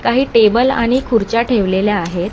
काही टेबल आणि खुर्च्या ठेवलेल्या आहेत.